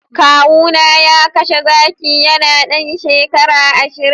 kawuna ya kashe zaki yana dan shekara ashirin